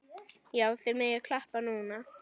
Já, þið megið klappa núna.